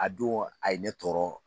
A don a ye ne tɔɔrɔ